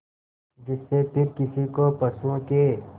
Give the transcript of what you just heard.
जिससे फिर किसी को पशुओं के